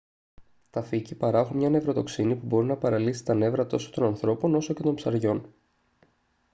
τα φύκη παράγουν μια νευροτοξίνη που μπορεί να παραλύσει τα νεύρα τόσο των ανθρώπων όσο και των ψαριών